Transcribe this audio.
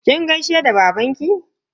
Kin gaishe da baba?